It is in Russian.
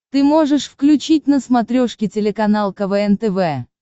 ты можешь включить на смотрешке телеканал квн тв